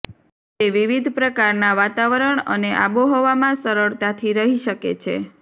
તે વિવિધ પ્રકારના વાતાવરણ અને આબોહવામાં સરળતાથી રહી શકે છે